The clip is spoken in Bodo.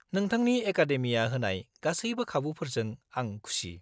-नोंथांनि एकादेमिया होनाय गासैबो खाबुफोरजों आं खुसि।